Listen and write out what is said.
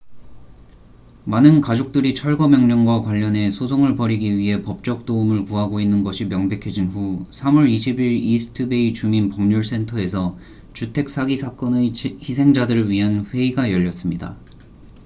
많은 가족들이 철거 명령과 관련해 소송을 벌이기 위해 법적 도움을 구하고 있는 것이 명백해진 후 3월 20일 이스트 베이 주민 법률 센터에서 주택 사기 사건의 희생자들을 위한 회의가 열렸습니다